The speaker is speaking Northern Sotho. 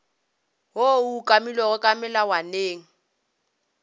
woo o umakilwego ka melawaneng